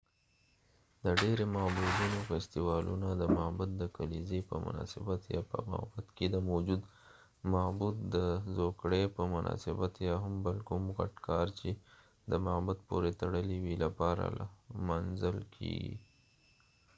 دډیری معبدونو فیستوالونه د معبد د کلیزی په مناسبت یا په معبد کې د موجود معبود د زوکړي په مناسبت یا هم بل کوم غټ کار چې د معبد پورې تړلی وي لپاره لمانځل کېږی